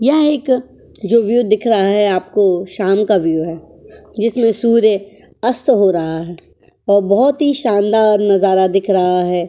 यहां एक जो व्यू दिख रहा है आपको शाम का व्यू है जिसमें सूर्य अस्त हो रहा है और बहुत ही शानदार नजारा दिख रहा है।